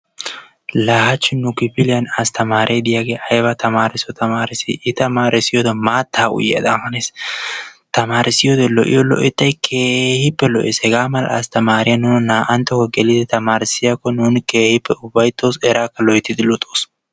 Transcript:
Laa haachchi nu kifiliyan asttamaare diyaagee ayba tamairiso tamaarissii! I tamaarissiyode maattaa uyiyaadan hanees. Tamarissiyode lo"iyo lo"ettay keehippe lo"ees. Hegaa mala astamaree nuna naa"antto geelidi tamarissiyakko nuuni keehippe ufaytoos, eraakka keehippe luxoos.